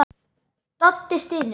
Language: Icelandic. Doddi stynur.